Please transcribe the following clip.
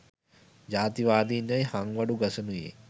ජාතිවාදින් යැයි හංවඩු ගසනුයේ